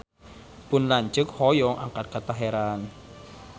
Pun lanceuk hoyong angkat ka Teheran